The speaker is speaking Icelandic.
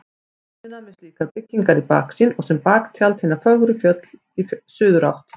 Tjörnina með slíkar byggingar í baksýn og sem baktjald hin fögru fjöll í suðurátt.